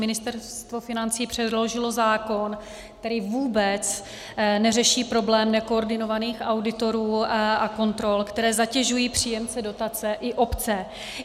Ministerstvo financí předložilo zákon, který vůbec neřeší problém nekoordinovaných auditorů a kontrol, které zatěžují příjemce dotace i obce.